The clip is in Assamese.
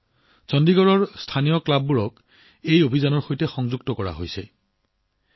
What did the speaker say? চণ্ডীগড়ত এই বাৰ্তা প্ৰচাৰৰ বাবে স্থানীয় ক্লাবসমূহক ইয়াৰ সৈতে জড়িত কৰা হৈছে